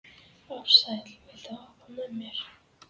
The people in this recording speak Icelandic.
Ársæll, viltu hoppa með mér?